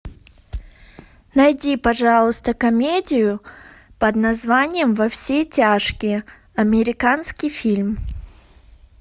найди пожалуйста комедию под названием во все тяжкие американский фильм